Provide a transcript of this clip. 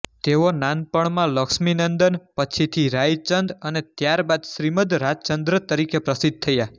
તેઓ નાનપણમાં લક્ષ્મીનંદન પછીથી રાયચંદ અને ત્યારબાદ શ્રીમદ્ રાજચંદ્ર તરીકે પ્રસિદ્ધ થયા